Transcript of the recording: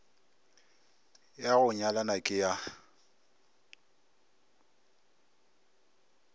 ya go nyalana ke ya